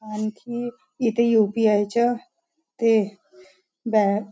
आणखी इथे यू_पी_आय च्या ते बॅ --